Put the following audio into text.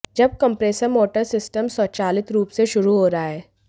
जब compressor motor system स्वचालित रूप से शुरू हो रहा है